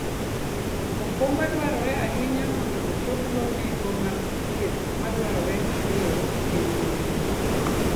okumba dwarore ahinya mondo ochopgo nengo mag thieth madwarore mapiyo e piny mawendo.